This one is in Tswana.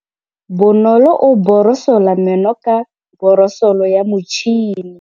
Bonolô o borosola meno ka borosolo ya motšhine.